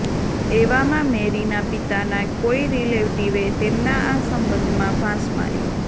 એવામાં મૅરીના પિતાના કોઈ રિલેટિવે તેમના આ સંબંધમાં ફાંસ મારી